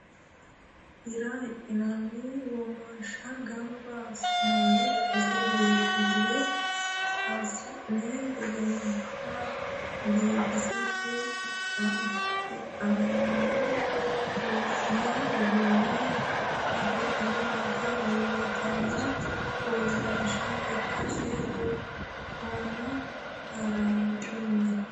Hira hidhinanni womashsha gamba assi'nanni basena biinfile hasi'ni gedeha biifisate qixxannino wo'ma uduune afidhino dagate uurritino uurrinsha ikkase buxoommo haranchunni.